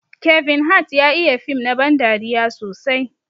Kevin Hart ya iya fim na ban dariya sosai.